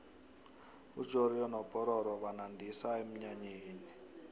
ujoriyo nopororo banandisa emnyanyeni